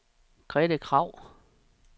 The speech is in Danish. Grete Kragh